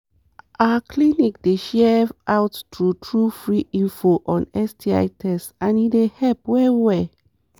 our clinic dey share out true true free info on sti test and e dey help well well